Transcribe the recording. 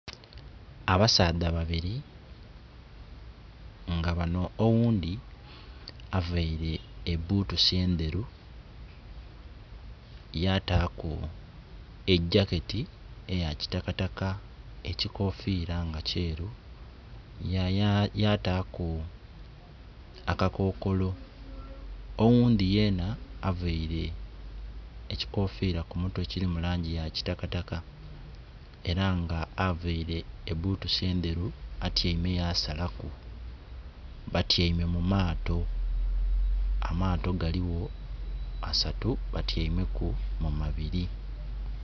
Abasaadha babiri nga bano oghundhi aveire ebutusi endheru yataku ejaketi eya kitakataka, ekikofira nga kyeru yataku akakokolo. Oghundi yena aveire ekikofira ku mutwe ekiri mu langi eya kitakataka era nga aveire ebutusi endheru atyeime yasalaku. Batyeime mu maato, amaato galigho asatu batyeimeku mu mabiri